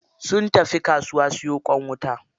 Sun tafi kasuwa siyo ƙwan wuta.